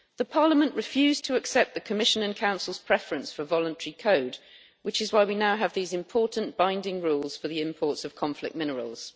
Parliament refused to accept the Commission and Council's preference for a voluntary code, which is why we now have these important binding rules for the imports of conflict minerals.